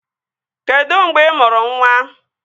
Kedụ mgbe ị mụrụ nwa?